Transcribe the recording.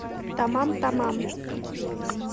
тамам тамам